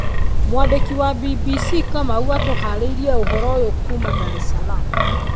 Mwandĩki wa BBC Kamau atũharĩirie ũhoro ũyũ kuuma Dar es Salaam.